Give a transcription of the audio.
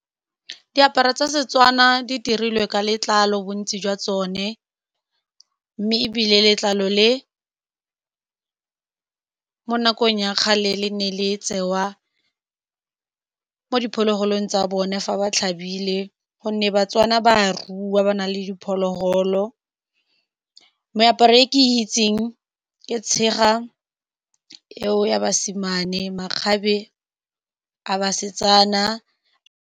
Diaparo tsa Setswana di dirilwe ka letlalo bontsi jwa tsone, mme ebile letlalo le mo nakong ya kgale le ne le tsewa mo diphologolong tsa bone fa ba tlhabile, ka gonne Batswana ba a rua, ba na le diphologolo. Meaparo e ke itseng ke tshega ya basimane le makgabe a basetsana.